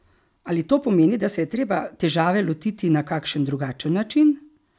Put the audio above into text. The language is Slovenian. Ali to pomeni, da se je treba težave lotiti na kakšen drugačen način?